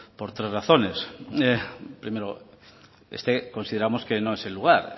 por tres razones primero consideramos que no es el lugar